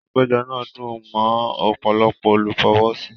Àpéjọ náà dùn mọ́ ọ̀pọ̀lọpọ̀ olùfọwọ́sí